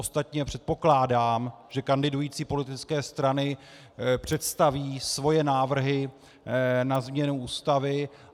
Ostatně předpokládám, že kandidující politické strany představí svoje návrhy na změnu Ústavy.